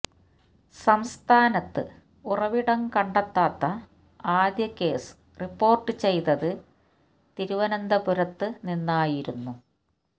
സംസ്ഥാനത്ത് ഉറവിടം കണ്ടെത്താത്ത ആദ്യ കേസ് റിപ്പോര്ട്ട് ചെയ്തത് തിരുവനന്തപുരത്ത് നിന്നായിരുന്നു